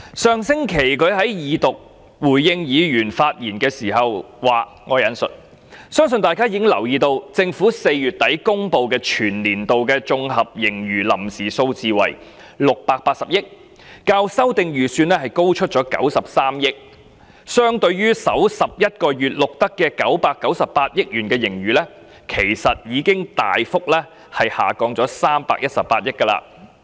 上星期，他在恢復二讀辯論發言回應議員時指出，"相信大家已留意到，政府在4月底公布全年度的綜合盈餘臨時數字為680億元，較修訂預算案高出93億元......相對於首11個月錄得的998億元盈餘，其實已大幅下降318億元。